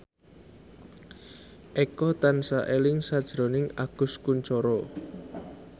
Eko tansah eling sakjroning Agus Kuncoro